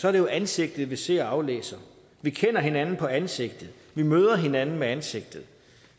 er det jo ansigtet vi ser og aflæser vi kender hinanden på ansigtet vi møder hinanden med ansigtet